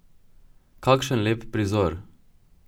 Kakšen lep prizor!